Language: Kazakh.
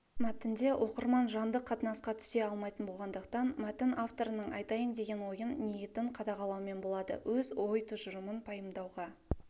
мәтінде оқырман жанды қатынасқа түсе алмайтын болғандықтан мәтін авторының айтайын деген ойын ниетін қадағалаумен болады өз ой-тұжырымын пайымдауға